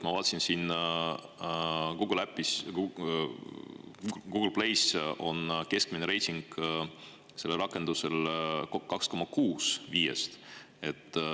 Ma vaatasin, et Google Plays on keskmine reiting sellel rakendusel 2,6 5-st.